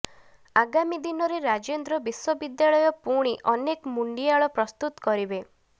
ଆଗାମୀ ଦିନରେ ରାଜେନ୍ଦ୍ର ବିଶ୍ୱବିଦ୍ୟାଳୟ ପୁଣି ଅନେକ ମୁଣ୍ଡିଆଳ ପ୍ରସ୍ତୁତ କରିବେ